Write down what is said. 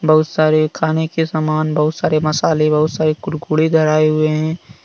बहुत सारे खाने के समान बहुत सारे मसाले बहुत सारे कुरकुडे धराये हुए हैं।